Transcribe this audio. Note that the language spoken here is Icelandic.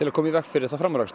að koma í veg fyrir framúrakstur